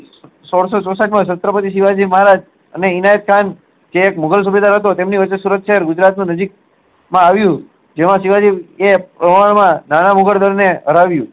સોળસો ચોસાટ માં શત્રપતી મહારાજ અને અન્યચાંસ એક મુગલ સુબેદવાર હતો એ તેમની વચ્ચે સુરત શહેર જે ગુજરાત નું નજીક માં આવ્યું જેમાં શિવાજી ને હરાવ્યું